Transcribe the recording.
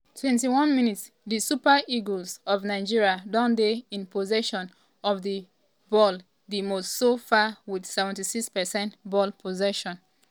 21 mins - di super eagles of nigeria don dey in possession of di ball di most so far wit 76 percent ball possession.